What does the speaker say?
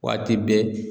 Waati bɛɛ